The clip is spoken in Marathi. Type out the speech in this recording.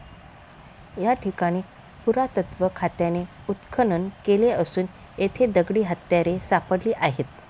या ठिकाणी पुरातत्त्व खात्याने उत्खनन केले असून येथे दगडी हत्यारे सापडली आहेत.